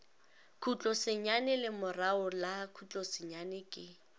khutlosenyane lemorago la khutlosenyane ke